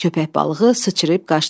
Köpək balığı sıçrayıb qaçdı.